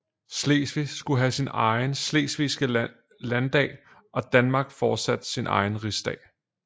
Slesvig skulle have sin egen slesvigske landdag og Danmark fortsat sin egen rigsdag